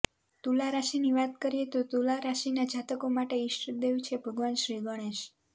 તુલા રાશિની વાત કરીએ તો તુલા રાશિના જાતકો માટેના ઇષ્ટદેવ છે ભગવાન શ્રી ગણેશ